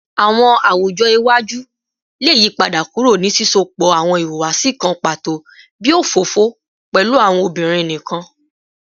Awọn awujọ iwaju le yipada kuro ni sisọpọ awọn ihuwasi kan pato bii ofofo pẹlu awọn obinrin nikan